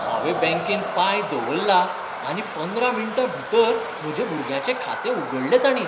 हांवें बॅंकेत पांय दवरला आनी पंदरा मिण्टांभीतर म्हज्या भुरग्याचें खातें उगडलें ताणीं.